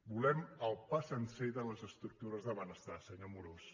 volem el pa sencer de les estructures de benestar senyor amorós